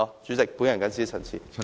主席，我謹此陳辭。